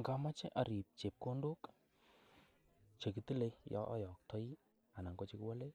Ngamoche arib chepkondok che kitile yon ayaktoi ana ko che kiwolen.